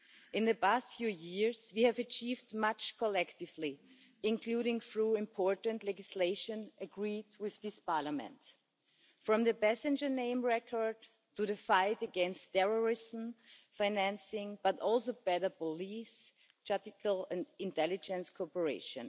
In the past few years, we have achieved much collectively, including through important legislation agreed with this Parliament, from the passenger name record to the fight against terrorism financing, as well as better police, judicial and intelligence cooperation.